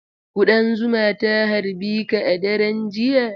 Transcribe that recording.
Kuɗan zuma ta harbi ka a daren jiya?